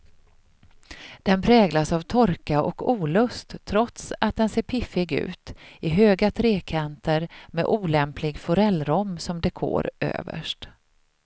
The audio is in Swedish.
Den präglas av torka och olust trots att den ser piffig ut i höga trekanter med olämplig forellrom som dekor överst.